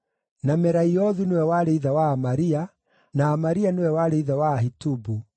na Meraiothu nĩwe warĩ ithe wa Amaria, na Amaria nĩwe warĩ ithe wa Ahitubu,